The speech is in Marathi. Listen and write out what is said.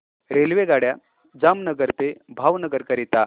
रेल्वेगाड्या जामनगर ते भावनगर करीता